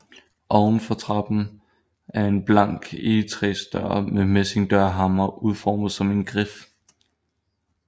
Oven for trappen er en blank egetræsdør med messingdørhammer udformet som en grif